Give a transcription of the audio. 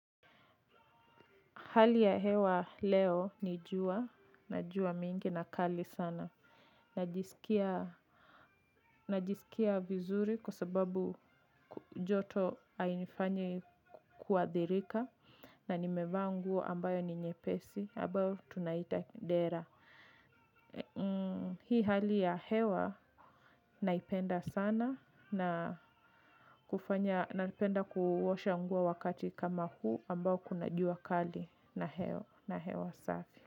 Hali ya hewa leo ni jua, kuna jua mingi na kali sana, najisikia. Najisikia vizuri kwa sababu joto hainifanyi kuathirika na nimevaa nguo ambayo ni nyepesi, ambayo tunaita dera. Hii hali ya hewa naipenda sana na kufanya, napenda kuosha nguo wakati kama huu ambao kuna jua kali na hewa safi.